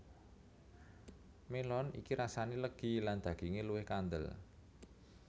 Melon iki rasane legi lan daginge luwih kandel